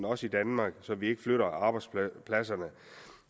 også i danmark så vi ikke flytter arbejdspladserne